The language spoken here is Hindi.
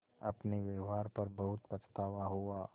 अपने व्यवहार पर बहुत पछतावा हुआ